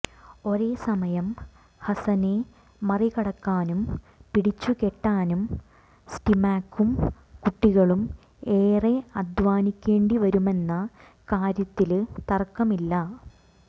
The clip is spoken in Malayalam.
ഒരേസമയം ഹസനെ മറികടക്കാനും പിടിച്ചു കെട്ടാനും സ്റ്റിമാകും കുട്ടികളും ഏറെ അധ്വാനിക്കേണ്ടി വരുമെന്ന കാര്യത്തില് തര്ക്കമില്ല